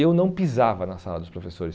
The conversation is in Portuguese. Eu não pisava na sala dos professores.